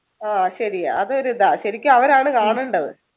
ആഹ് ശരിയാ അതൊരു ഇതാണ് ശരിക്ക് അവരാണ് കാണണ്ടത്